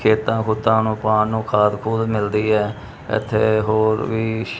ਖੇਤਾਂ ਖੂਤਾਂ ਨੂੰ ਪਾਣ ਨੂੰ ਖਾਦ ਖੂਦ ਮਿਲਦੀ ਐ ਇੱਥੇ ਹੋਰ ਵੀ।